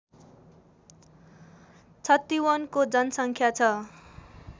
छतिवनको जनसङ्ख्या छ